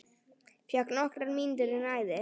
Fékk nokkrar mínútur í næði.